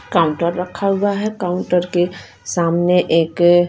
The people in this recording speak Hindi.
काउंटर रखा हुआ है काउंटर के सामने एक--